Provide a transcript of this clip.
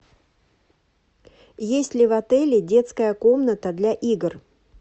есть ли в отеле детская комната для игр